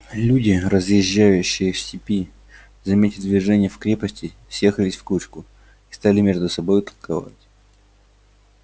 люди разъезжающие в степи заметя движение в крепости съехались в кучку и стали между собою толковать